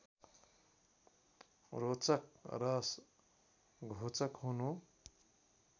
रोचक र घोचक हुनु